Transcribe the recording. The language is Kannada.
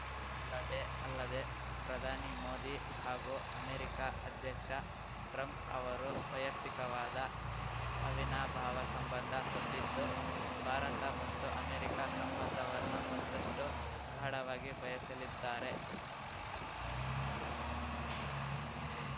ಅಲ್ಲದೆ ಅಲ್ಲದೆ ಪ್ರಧಾನಿ ಮೋದಿ ಹಾಗೂ ಅಮೆರಿಕ ಅಧ್ಯಕ್ಷ ಟ್ರಂಪ್‌ ಅವರು ವೈಯಕ್ತಿಕವಾದ ಅವಿನಾಭಾವ ಸಂಬಂಧ ಹೊಂದಿದ್ದು ಭಾರತ ಮತ್ತು ಅಮೆರಿಕ ಸಂಬಂಧವನ್ನು ಮತ್ತಷ್ಟುಗಾಢವಾಗಿ ಬಯಸಲಿದ್ದಾರೆ